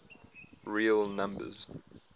real numbers